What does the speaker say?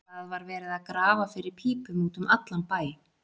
Það var verið að grafa fyrir pípum út um allan bæ.